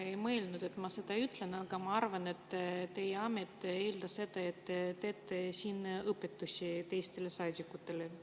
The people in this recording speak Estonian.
Ma ei mõelnud, et ma seda ütlen, aga ma arvan, et teie amet ei eelda seda, et te jagate siin õpetusi teistele saadikutele.